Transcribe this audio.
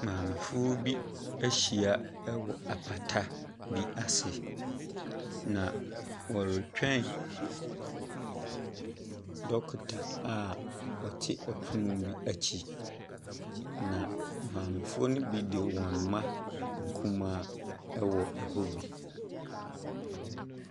Maamefoɔ bi ahyia wɔ apata bi ase, na wɔretwɛn dɔkota a ɔte pono bi akyi. Na maamefoɔ no bi de wɔn mma nkumaa wɔ hɔ bi.